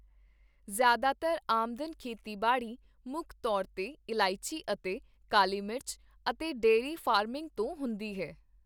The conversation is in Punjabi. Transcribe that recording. ਜ਼ਿਆਦਾਤਰ ਆਮਦਨ ਖੇਤੀਬਾੜੀ, ਮੁੱਖ ਤੌਰ 'ਤੇ ਇਲਾਇਚੀ ਅਤੇ ਕਾਲੀ ਮਿਰਚ ਅਤੇ ਡੇਅਰੀ ਫਾਰਮਿੰਗ ਤੋਂ ਹੁੰਦੀ ਹੈ।